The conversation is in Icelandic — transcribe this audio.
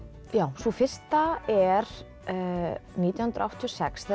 sú fyrsta er nítján hundruð áttatíu og sex þegar